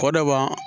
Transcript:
Kɔ dɔ ban